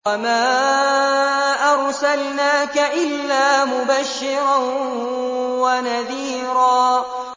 وَمَا أَرْسَلْنَاكَ إِلَّا مُبَشِّرًا وَنَذِيرًا